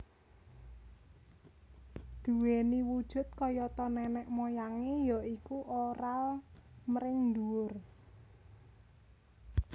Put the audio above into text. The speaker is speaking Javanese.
Duweni wujud kayata nenek moyangé ya iku oral mring dhuwur